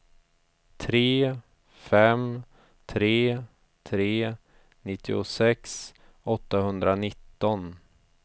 tre fem tre tre nittiosex åttahundranitton